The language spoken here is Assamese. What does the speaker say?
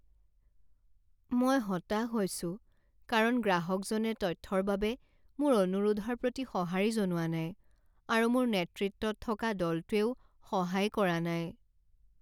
মই হতাশ হৈছোঁ কাৰণ গ্ৰাহকজনে তথ্যৰ বাবে মোৰ অনুৰোধৰ প্ৰতি সঁহাৰি জনোৱা নাই আৰু মোৰ নেতৃত্বত থকা দলটোৱেও সহায় কৰা নাই।